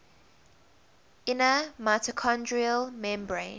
inner mitochondrial membrane